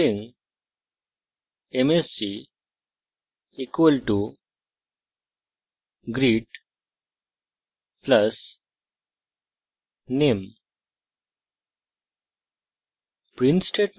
string msg = greet + name ;